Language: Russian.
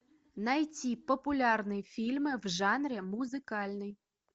найти популярные фильмы в жанре музыкальный